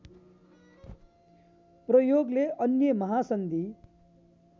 प्रयोगले अन्य महासन्धि